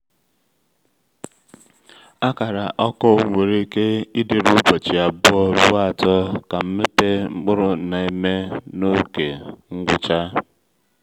akara ọkụ nwere ike ịdịru ụbọchị abụọ ruo atọ ka nmepe mkpụrụ na-eme n’ókè ngwụcha.